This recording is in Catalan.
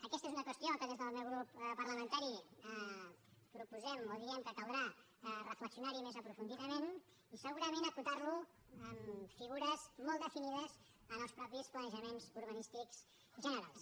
aquesta és una qüestió que des del meu grup parlamentari proposem o diem que caldrà reflexionar hi més aprofundidament i segurament acotar lo en figures molt definides en els mateixos planejaments urbanístics generals